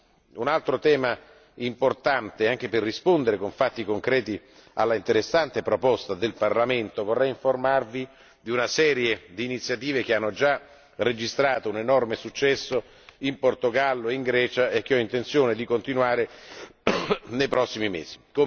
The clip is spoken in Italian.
Passiamo a un altro tema importante, anche per rispondere con fatti concreti all'interessante proposta del Parlamento vorrei informarvi di una serie di iniziative che hanno già registrato un enorme successo in Portogallo e in Grecia e che ho intenzione di continuare nei prossimi mesi.